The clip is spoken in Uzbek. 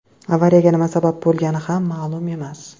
Avariyaga nima sabab bo‘lgani ham ma’lum emas.